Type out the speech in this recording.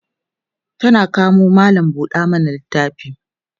tana kamo mallam buɗe littafi